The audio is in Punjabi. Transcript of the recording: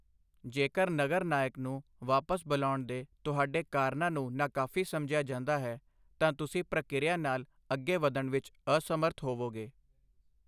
ਜੇਕਰ ਨਗਰ ਨਾਇਕ ਨੂੰ ਵਾਪਸ ਬੁਲਾਉਣ ਦੇ ਤੁਹਾਡੇ ਕਾਰਨਾਂ ਨੂੰ ਨਾਕਾਫ਼ੀ ਸਮਝਿਆ ਜਾਂਦਾ ਹੈ, ਤਾਂ ਤੁਸੀਂ ਪ੍ਰਕਿਰਿਆ ਨਾਲ ਅੱਗੇ ਵਧਣ ਵਿੱਚ ਅਸਮਰੱਥ ਹੋਵੋਗੇ।